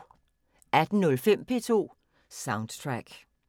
18:05: P2 Soundtrack